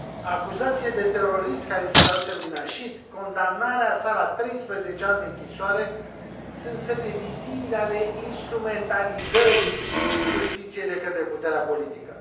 Acuzațiile de terorism care îi sunt aduse lui Nasheed, condamnarea sa la 13 ani de închisoare sunt semne vizibile ale instrumentalizării justiției de către puterea politică.